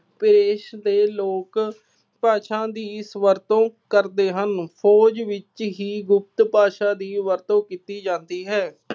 ਭੇਸ਼ ਦੇ ਲੋਕ ਭਾਸ਼ਾ ਦੀ ਇਸ ਵਰਤੋਂ ਕਰਦੇ ਹਨ। ਫੋਜ ਵਿੱਚ ਹੀ ਗੁਪਤ ਭਾਸ਼ਾ ਦੀ ਵਰਤੋਂ ਕੀਤੀ ਜਾਂਦੀ ਹੈ।